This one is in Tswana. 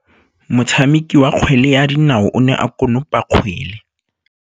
Motshameki wa kgwele ya dinaô o ne a konopa kgwele.